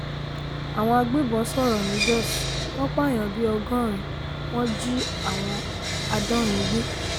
àwọn agbébọn sọ̀rọ̀ ni jóṣ wọn pààyàn bíi ọgọ́rin wọn jí àádọ́rin gbé